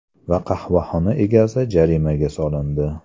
Va qahvaxona egasi jarimaga solindi.